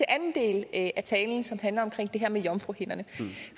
anden del af talen som handler om det her med jomfruhinderne